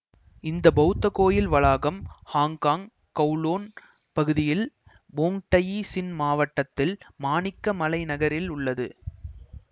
இந்த பௌத்த கோயில் வளாகம் ஹாங்கொங் கவுலூன் பகுதியில் வொங் டயி சின் மாவட்டத்தில் மாணிக்க மலை நகரில் அமைந்துள்ளது